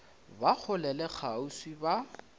ba kgole le kgauswi ba